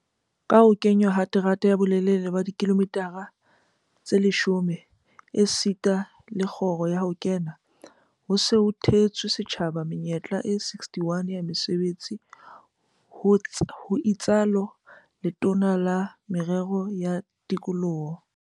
"Ka ho kenngwa ha terata ya bolelele ba dikilomitara tse 10 esita le kgoro ya ho kena, ho se ho theetswe setjhaba menyetla e 61 ya mesebetsi," ho itsalo Letona la Merero ya Tikoloho